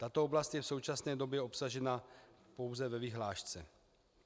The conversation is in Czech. Tato oblast je v současné době obsažena pouze ve vyhlášce.